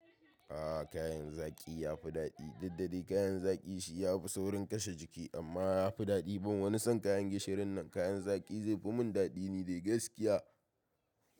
A kayan zaki yafi daɗi. Duk dai kayan zaki shi yafi saurin kashe jiki amma yafi daɗi. Ban wani son kayan gishirin nan, kayan zaki zai fi mun daɗi ne dai gaskiya.